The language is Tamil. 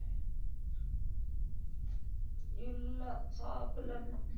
இல்லை, சாப்பிடல இன்னும்